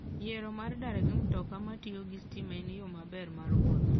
Yiero mar dar gi mtoka matiyo gi stima en yo maber mar wuoth.